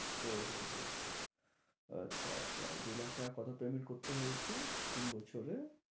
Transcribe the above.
ও হো হো হো হো। আচ্ছা আচ্ছা দু' লাখ টাকার কত payment করতে হয়েছে তিন বছরে?